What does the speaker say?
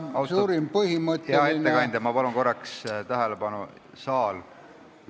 Austatud hea ettekandja, palun korraks tähelepanu!